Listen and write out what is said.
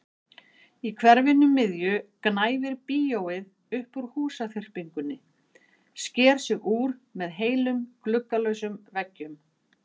Í hverfinu miðju gnæfir bíóið upp úr húsaþyrpingunni, sker sig úr með heilum gluggalausum veggjum.